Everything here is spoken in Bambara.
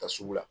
Taa sugu la